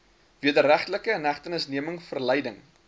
wederregtelike inhegtenisneming verleiding